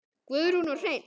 Guðrún og Hreinn.